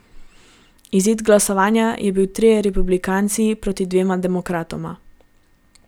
Izid glasovanja je bil trije republikanci proti dvema demokratoma.